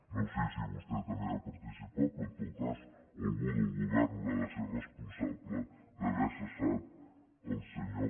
no sé si vostè també hi ha participat però en tot cas algú del govern deu ser responsable d’haver cessat el senyor